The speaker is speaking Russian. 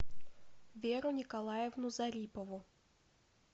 веру николаевну зарипову